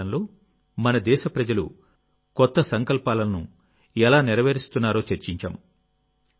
అమృత కాలంలో మన దేశప్రజలు కొత్త సంకల్పాలను ఎలా నెరవేరుస్తున్నారో చర్చించాం